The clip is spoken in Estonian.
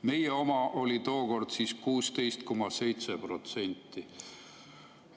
Meie oma oli tookord 16,7%.